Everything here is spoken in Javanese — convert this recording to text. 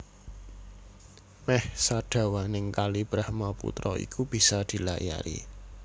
Mèh sadawaning Kali Brahmaputra iku bisa dilayari